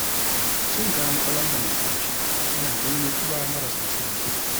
Cin kayan ƙwalam da maƙulashe yana janyo ƙiba maras misali.